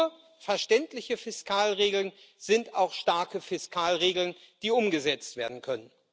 Nur verständliche Fiskalregeln sind auch starke Fiskalregeln, die umgesetzt werden können.